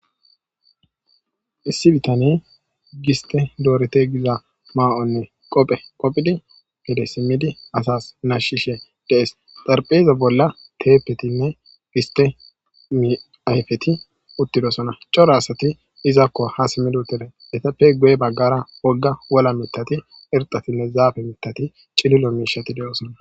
Issi bitane giste dorite gidda mayonne qoobe qoobidi gedde simmidi asa nashishe dees. Zarpe ba bolla tepetine giste ayfetine uttidosona cora asatinne izako ha simmidi uttidosona .estape guye baggara woga wola mithati,irxatinne zafe mithatinne cililo mishati de'osona